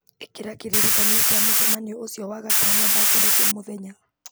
ĩkĩra kĩririkania kĩa mũcemanio ũcio wagatano thaa kenda cia mũthenya